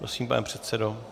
Prosím, pane předsedo.